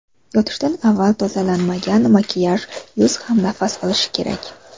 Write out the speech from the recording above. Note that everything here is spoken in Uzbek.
Yotishdan avval tozalanmagan makiyaj Yuz ham nafas olishi kerak.